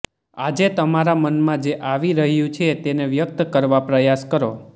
આજે તમારા મનમાં જે આવી રહ્યું છે તેને વ્યક્ત કરવા પ્રયાસ કરો